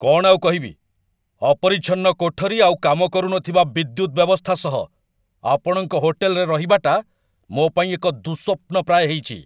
କ'ଣ ଆଉ କହିବି, ଅପରିଚ୍ଛନ୍ନ କୋଠରୀ ଆଉ କାମ କରୁନଥିବା ବିଦ୍ୟୁତ ବ୍ୟବସ୍ଥା ସହ ଆପଣଙ୍କ ହୋଟେଲରେ ରହିବାଟା ମୋ ପାଇଁ ଏକ ଦୁଃସ୍ୱପ୍ନ ପ୍ରାୟ ହେଇଚି।